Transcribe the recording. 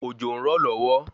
Òjò ń rọ̀ lọ́wọ́